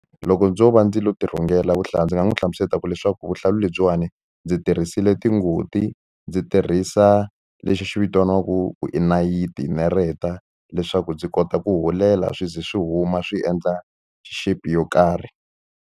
Loko ndzo va ndzi lo ti rhungela vuhlalu ndzi nga n'wi hlamusela ku leswaku vuhlalu lebyiwani ndzi tirhisile tingoti ndzi tirhisa lexi vitaniwaku i nayiti nareta leswaku ndzi kota ku hulela swi ze swi huma swi endla shape yo karhi.